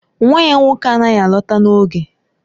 Nwa ya nwoke anaghị alọta n'oge